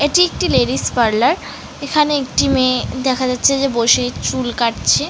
এটি একটি ladies parlour এখানে একটি মেয়ে দেখা যাচ্ছে যে বসে চুল কাটছে।